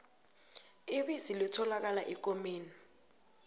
ibisi litholakala ekomeni